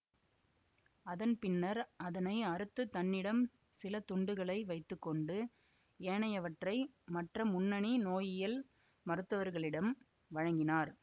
அதன் பின்னர் அதனை அறுத்துத் தன்ன்னிடம் சில துண்டுகளை வைத்து கொண்டு ஏனையவற்றை மற்ற முன்னணி நோயியல் மருத்துவர்களிடம் வழங்கினார்